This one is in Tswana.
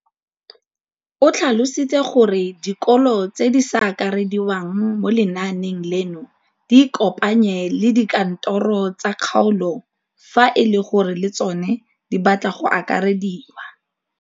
O tlhalositse gore dikolo tse di sa akarediwang mo lenaaneng leno di ikopanye le dikantoro tsa kgaolo fa e le gore le tsona di batla go akarediwa.